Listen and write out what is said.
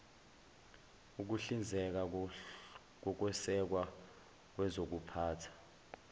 ukuhlinzeka ngokwesekwa kwezokuphatha